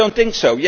I do not think